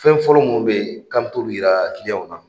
Fɛn fɔlɔ minnu bɛ k'an bɛ t'olu yira na